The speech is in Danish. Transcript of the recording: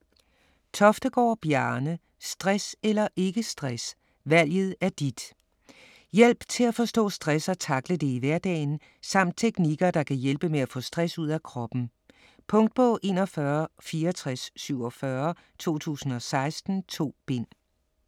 Toftegård, Bjarne: Stress eller ikke stress - valget er dit Hjælp til at forstå stress og takle det i hverdagen samt teknikker der kan hjælpe med at få stress ud af kroppen. Punktbog 416447 2016. 2 bind.